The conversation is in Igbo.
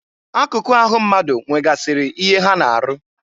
Akụkụ ahụ mmadụ nwegasịrị ihe ha na-arụ.